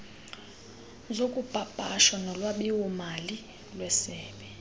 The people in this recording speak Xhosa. zokupapasha nolwabiwomali lwesebe